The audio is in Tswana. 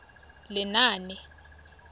lenaane